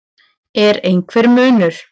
Er einhver munur?